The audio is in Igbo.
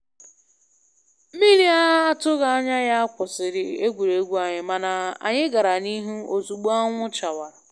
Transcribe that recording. Mmiri a na atụghị anya ya kwụsịrị egwuregwu anyị, mana anyị gara n'ihu ozugbo anwụ chawara